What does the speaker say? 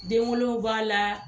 Den wolow b'a la